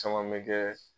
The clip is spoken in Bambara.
Caman bɛ kɛ